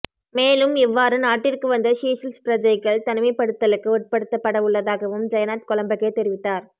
மேலும் இவ்வாறு நாட்டிற்கு வந்த சீஷெல்ஸ் பிரஜைகள் தனிமைப்படுத்தலுக்கு உட்படுத்தப்படவுள்ளதாகவும் ஜயநாத் கொலம்பகே தெரிவித்தார்